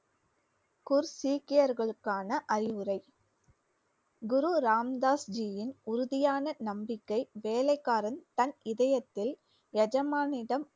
குர் சீக்கியர்களுக்கான அறிவுரை குரு ராம் தாஸ் ஜியின் உறுதியான நம்பிக்கை வேலைக்காரன் தன் இதயத்தில் எஜமானிடம்